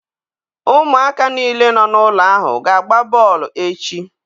Ụmụaka niile nọ n'ụlọ ahụ ga-agba bọọlụ echi.